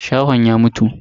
Shahon ya mutu.